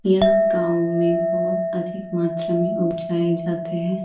यह गाओ में बहोत अधिक मात्रा में बिछाए जाते हैं।